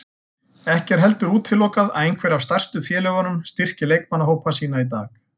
Ekki er heldur útilokað að einhver af stærstu félögunum styrki leikmannahópa sína í dag.